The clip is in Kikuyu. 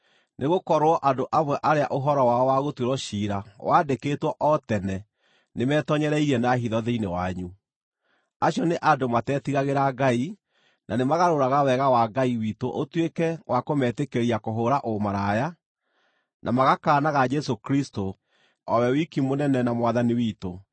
Nĩgũkorwo andũ amwe arĩa ũhoro wao wagũtuĩrwo ciira waandĩkĩtwo o tene nĩmetoonyereirie na hitho thĩinĩ wanyu. Acio nĩ andũ matetigagĩra Ngai, na nĩmagarũraga Wega wa Ngai witũ ũtuĩke wa kũmetĩkĩria kũhũũra ũmaraya, na magakaanaga Jesũ Kristũ, o we wiki Mũnene na Mwathani witũ.